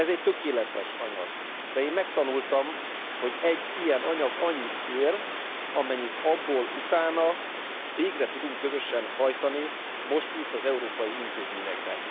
Ez egy tökéletes anyag, de én megtanultam, hogy egy ilyen anyag annyit ér, amennyit abból utána végre tudunk közösen hajtani most itt az európai intézményekben.